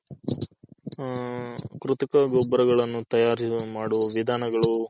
ಹಾಂ ಕೃತಕ ಗೊಬ್ಬರಗಳ್ಳನು ತಯಾರಿಸುವ ಮಾಡುವ ವಿಧಾನಗಳು